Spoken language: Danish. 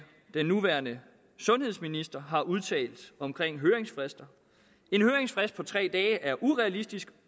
den nuværende sundhedsminister har udtalt omkring høringsfrister en høringsfrist på tre dage er urealistisk